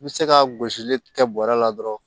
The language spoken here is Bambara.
I bɛ se ka gosili kɛ bɔrɛ la dɔrɔn